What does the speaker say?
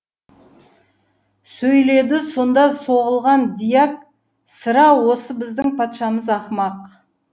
сөйледі сонда соғылған дьяк сірә осы біздің патшамыз ақымақ